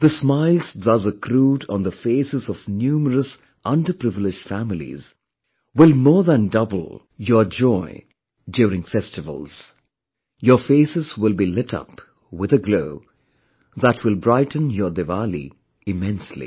The smiles thus accrued on the faces of numerous underprivileged families will more than double your joy during festivals... your faces will be lit up with a glow that will brighten your Diwali immensely